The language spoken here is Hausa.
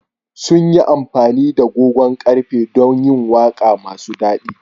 Sun yi amfani da gogon ƙarfe don yin waƙa masu daɗi.